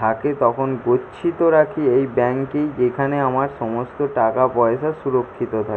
থাকে তখন গচ্ছিত রাখি এই ব্যাংক -এই যেখানে আমার সমস্ত টাকাপয়সা সুরুক্ষিত থাকে।